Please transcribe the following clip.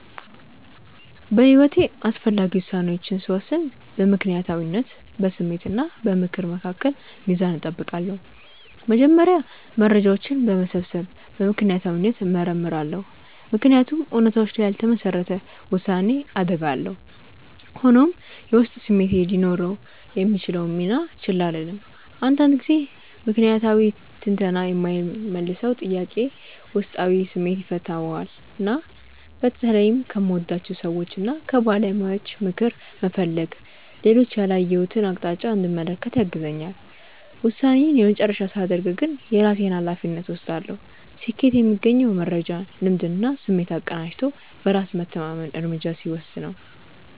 በሕይወቴ አስፈላጊ ውሳኔዎችን ስወስን በምክንያታዊነት፣ በስሜት እና በምክር መካከል ሚዛን እጠብቃለሁ። መጀመሪያ መረጃዎችን በመሰብሰብ በምክንያታዊነት እመረምራለሁ፤ ምክንያቱም እውነታዎች ላይ ያልተመሰረተ ውሳኔ አደጋ አለው። ሆኖም፣ የውስጥ ስሜቴ ሊኖረው የሚችለውን ሚና ችላ አልልም፤ አንዳንድ ጊዜ ምክንያታዊ ትንተና የማይመልሰውን ጥያቄ ውስጣዊ ስሜቴ ይፈታዋልና። በተለይም ከምወዳቸው ሰዎችና ከባለሙያዎች ምክር መፈለግ ሌሎች ያላየሁትን አቅጣጫ እንድመለከት ያግዘኛል። ውሳኔዬን የመጨረሻ ሳደርግ ግን የራሴን ሃላፊነት እወስዳለሁ። ስኬት የሚገኘው መረጃን፣ ልምድንና ስሜትን አቀናጅቶ በራስ መተማመን እርምጃ ሲወስድ ነው።